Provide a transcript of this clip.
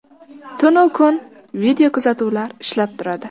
Tun-u kun videokuzatuvlar ishlab turadi.